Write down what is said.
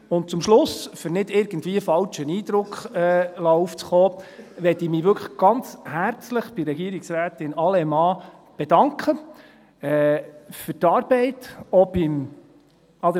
Und zum Schluss, um nicht irgendwie einen falschen Eindruck aufkommen zu lassen, möchte ich mich wirklich ganz herzlich bei Regierungsrätin Allemann für die Arbeit bedanken;